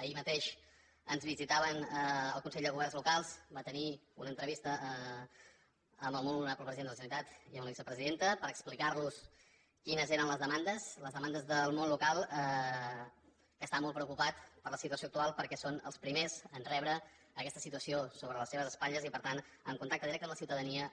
ahir mateix ens visitava el consell de governs locals que va tenir una entrevista amb el molt honorable president de la generalitat i amb la vicepresidenta per explicar los quines eren les demandes les demandes del món local i que està molt preocupat per la situació actual perquè són els primers a rebre aquesta situació sobre les seves espatlles i per tant en contacte directe amb la ciutadania